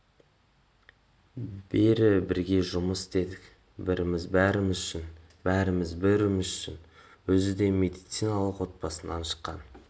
бері бірге жұмыс істедік біріміз бәріміз үшін бәріміз біріміз үшін өзі де медициналық отбасынан шыққан